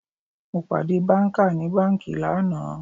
Mo pàdé banka ní banki lánàá